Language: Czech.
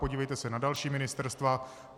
Podívejte se na další ministerstva.